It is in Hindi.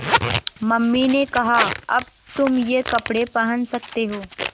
मम्मी ने कहा अब तुम ये कपड़े पहन सकते हो